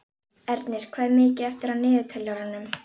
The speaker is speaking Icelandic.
Ernir, hvað er mikið eftir af niðurteljaranum?